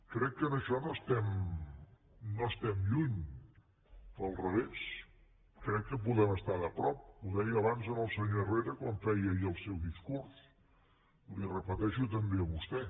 crec que en això no estem lluny al revés crec que podem estar a prop ho deia abans al senyor herrera quan feia ahir el seu discurs li ho repeteixo també a vostè